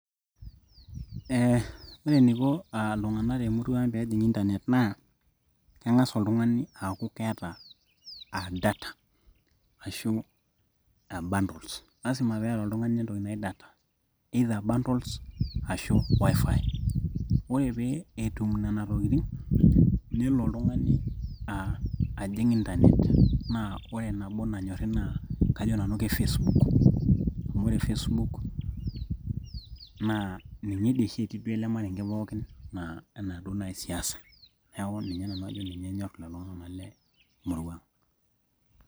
Eeh ore eneiko aa iltung'anak temurua ang peejing internet naa keng'as oltung'ani aaku keeta aa data ashuu bundles lazima peeta oltung'ani entoki naji data either bundles ashuu wifi ore pee etum nena tokitin nelo oltung'ani aa ajing internet naa ore nabo nanyori naa kajo nanu nanu ke Facebook amu ore Facebook naa ninye duo oshi eetii ele marenge pookin enaa duo naaji siasa neeku ninye nanu ajo enyor lelo tung'anak lemurua aang.